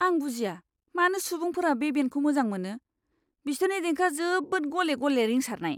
आं बुजिया मानो सुबुंफोरा बे बेन्डखौ मोजां मोनो! बिसोरनि देंखोआ जोबोद गले गले रिंसारनाय।